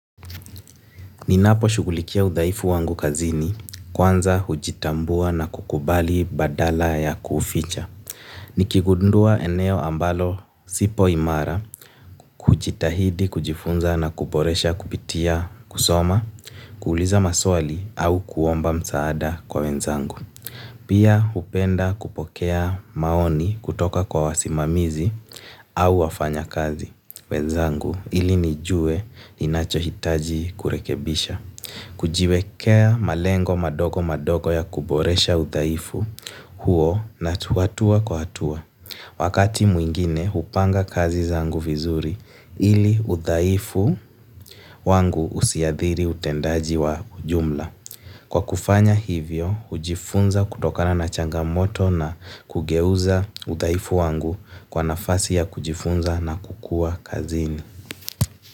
Ninaposhughulikia udhaifu wangu kazini kwanza hujitambua na kukubali badala ya kuuficha. Nikigundua eneo ambalo sipo imara, hujitahidi, kujifunza na kuboresha kupitia kusoma, kuuliza maswali au kuomba msaada kwa wenzangu. Pia hupenda kupokea maoni kutoka kwa wasimamizi au wafanyakazi wenzangu ili nijue ninachohitaji kurekebisha. Kujiwekea malengo madogo madogo ya kuboresha udhaifu huo hatua kwa hatua. Wakati mwingine hupanga kazi zangu vizuri ili udhaifu wangu usiathiri utendaji wa ujumla. Kwa kufanya hivyo, hujifunza kutokana na changamoto na kugeuza udhaifu wangu kuwa nafasi ya kujifunza na kukua kazini.